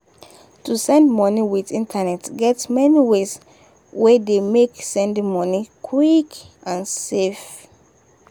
to send money with internet get many ways wey dey make sending money quick and safe.